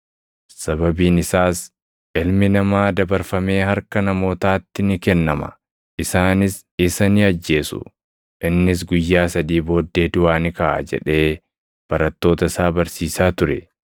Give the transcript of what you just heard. sababiin isaas, “Ilmi Namaa dabarfamee harka namootaatti ni kennama. Isaanis isa ni ajjeesu; innis guyyaa sadii booddee duʼaa ni kaʼa” jedhee barattoota isaa barsiisaa ture.